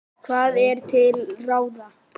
Hvað er til ráða